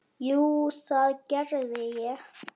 Jú, það gerði ég.